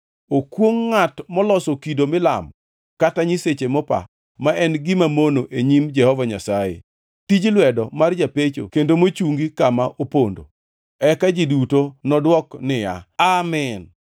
“Okwongʼ ngʼat moloso kido milamo, kata nyiseche mopa, ma en gima mono e nyim Jehova Nyasaye, tij lwedo mar japecho kendo mochungi kama opondo.” Eka ji duto nodwok niya, “Amin!”